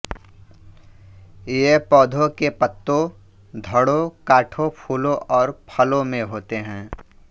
ये पौधों के पत्तों धड़ों काठों फूलों और फलों में होते हैं